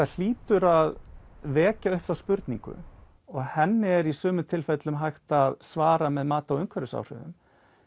hlýtur að vekja upp þá spurningu og henni er í sumum tilfellum hægt að svara með mati á umhverfisáhrifum